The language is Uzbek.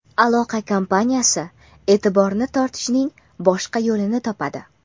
aloqa kompaniyasi e’tiborini tortishning boshqa yo‘lini topadi.